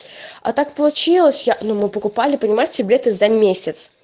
а так получилось я но мы покупали понимаете билеты за месяц